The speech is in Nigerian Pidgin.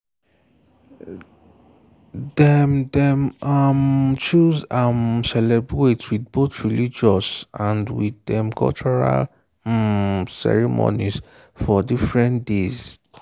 dem dem um chose um celebrate with both religious and with dem cultural um ceremonies for different days.